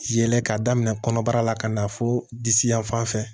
Yɛlɛ k'a daminɛ kɔnɔbara la ka na fo disi yanfan fɛ